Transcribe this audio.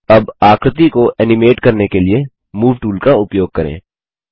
अब आकृति को एनिमेट करने के लिए मूव टूल का उपयोग करें